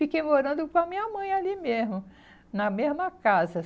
Fiquei morando com a minha mãe ali mesmo, na mesma casa.